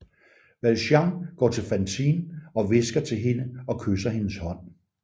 Valjean går til Fantine og hvisker til hende og kysser hendes hånd